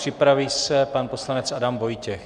Připraví se pan poslanec Adam Vojtěch.